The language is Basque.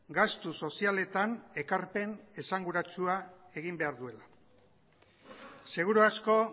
gastu sozialetan ekarpen esanguratsua egin behar duela seguru asko